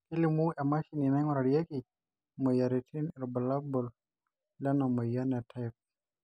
kelimu emashini naingurarieki imoyiaritin irbulabol lena moyian e type